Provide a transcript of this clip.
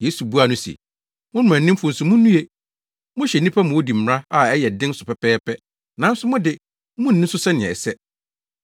Yesu buaa no se, “Mo mmaranimfo nso munnue! Mohyɛ nnipa ma wodi mmara a ɛyɛ den so pɛpɛɛpɛ, nanso mo de, munni so sɛ sɛnea ɛsɛ.